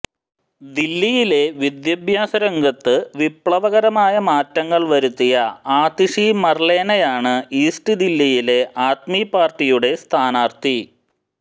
ദില്ലിയിലെ വിദ്യാഭ്യാസരംഗത്ത് വിപ്ലവകരമായ മാറ്റങ്ങൾ വരുത്തിയ ആതിഷി മർലേനയാണ് ഈസ്റ്റ് ദില്ലിയിലെ ആദ്മി പാർട്ടിയുടെ സ്ഥാനാർത്ഥി